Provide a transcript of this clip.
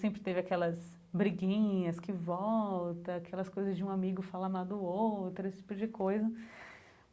Sempre teve aquelas briguinhas que volta, aquelas coisas de um amigo falar mal do outro, esse tipo de coisa.